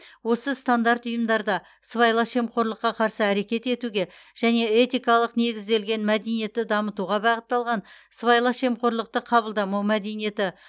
осы стандарт ұйымдарда сыбайлас жемқорлыққа қарсы әрекет етуге және этикалық негізделген мәдениетті дамытуға бағытталған сыбайлас жемқорлықты қабылдамау мәдениеті